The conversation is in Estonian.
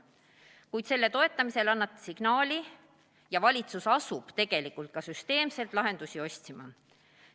Kuid selle toetamisega annate te signaali ja valitsus asub tegelikult ka süsteemselt lahendusi otsima.